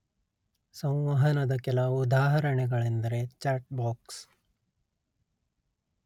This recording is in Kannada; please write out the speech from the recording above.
ಸಂವಹನದ ಕೆಲ ಉದಾಹರಣೆಗಳೆಂದರೆ ಚಾಟ್ ಬಾಕ್ಸ್